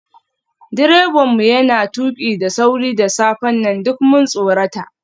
Direban mu yana tuki da sauri da safen nan, duk mun tsorata.